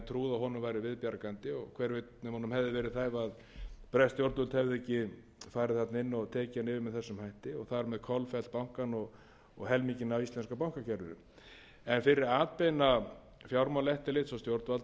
og hver veit nema honum hefði verið bjargað ef bresk stjórnvöld hefðu ekki farið þarna inn og tekið hann niður með þessum hætti og þar með kolfellt bankann og helminginn af íslenska bankakerfinu en fyrir atbeina fjármálaeftirlits og stjórnvalda